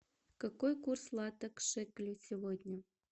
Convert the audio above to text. какой курс лата к шекелю сегодня